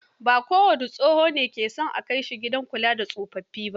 Ba kowane tsoho ne ke son a kai shi gidan kula da tsofaffi ba.